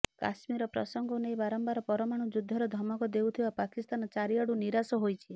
କାଶ୍ମୀର ପ୍ରସଙ୍ଗକୁ ନେଇ ବାରମ୍ୱାର ପରମାଣୁ ଯୁଦ୍ଧର ଧମକ ଦେଉଥିବା ପାକିସ୍ତାନ ଚାରିଆଡୁ ନିରାଶ ହୋଇଛି